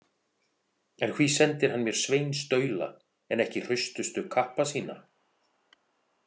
En hví sendir hann mér sveinstaula en ekki hraustustu kappa sína?